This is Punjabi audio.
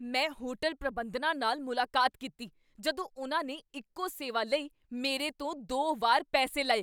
ਮੈਂ ਹੋਟਲ ਪ੍ਰਬੰਧਨਾਂ ਨਾਲ ਮੁਲਾਕਾਤ ਕੀਤੀ ਜਦੋਂ ਉਨ੍ਹਾਂ ਨੇ ਇੱਕੋ ਸੇਵਾ ਲਈ ਮੇਰੇ ਤੋਂ ਦੋ ਵਾਰ ਪੈਸੇ ਲਏ।